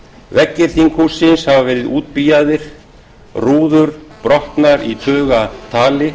veggir þinghússins hafa verið útbíaðir rúður brotnar í tugatali